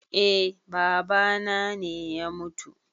Eh babana ne ya mutu